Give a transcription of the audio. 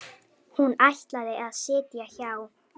Hún ætlaði að sitja hjá.